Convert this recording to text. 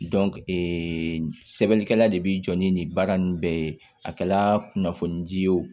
ee sɛbɛnnikɛla de bi jɔ ni nin baara nunnu bɛɛ ye a kɛla kunnafoni ji ye o